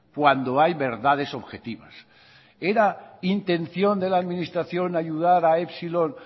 cuando hay verdades objetivas era intención de la administración ayudar a epsilon